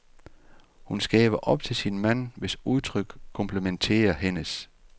Hun skæver op til sin mand, hvis udtryk komplementerer hendes.